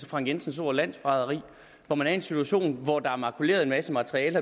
frank jensens ord landsforræderi hvor man er en situation hvor der belejligt er makuleret en masse materiale